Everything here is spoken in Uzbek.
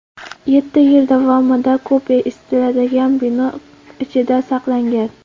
Yetti yil davomida kupe isitiladigan bino ichida saqlangan.